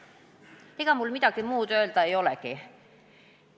Ega mul midagi muud öelda ei olegi.